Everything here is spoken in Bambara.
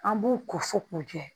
An b'u ko fo k'u jɛ